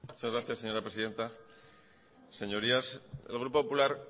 muchas gracias señora presidenta señorías el grupo popular